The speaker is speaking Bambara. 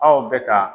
Aw bɛ ka